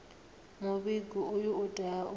muvhigo uyu u tea u